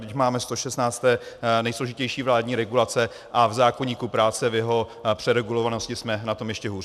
Vždyť máme 116. nejsložitější vládní regulace a v zákoníku práce, v jeho přeregulovanosti jsme na tom ještě hůř?